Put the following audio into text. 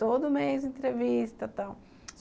Todo mês entrevista tal.